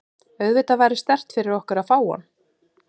Auðvitað væri sterkt fyrir okkur að fá hann.